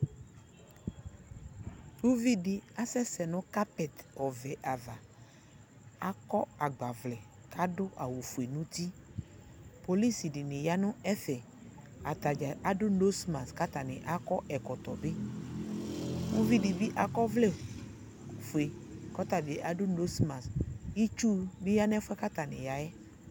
Uvidi asɛsɛ nu kapɛti ɔvɛ ava akɔ agbavlɛ kadu awu ofue nu uti kpɔlusi di ya nu ɛfɛ atadza adu nozmas katani akɔ ɛkɔtɔ ɔvɛ uvidi dibi akɔ ɔvlɛ ofue ɔtabi adu nozmas itsu nu ya nu ɛfɛ atani ya yɛ